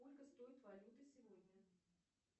сколько стоят валюты сегодня